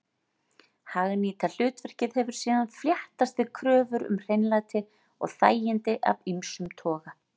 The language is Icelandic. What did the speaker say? Hagnýta hlutverkið hefur síðan fléttast við kröfur um hreinlæti og þægindi af ýmsum toga.